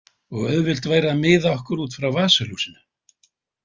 Og auðvelt væri að miða okkur út frá vasaljósinu.